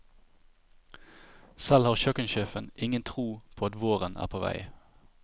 Selv har kjøkkensjefen ingen tro på at våren er på vei.